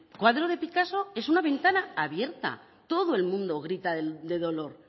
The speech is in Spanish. cuadro de picasso es una ventana abierta todo el mundo grita de dolor